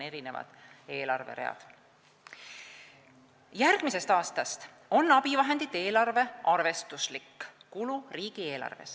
Järgmisest aastast on abivahendite eelarve riigieelarves arvestuslik kulu.